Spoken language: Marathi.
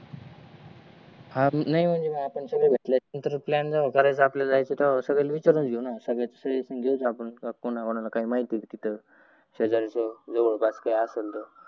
हा नाही म्हणजे आपण भेटल्याच्या नंतर प्लान करायच्या अगोदर कोण कोणाला माहीत आहे का तित शेजारच जवाद पासच काही असेल तर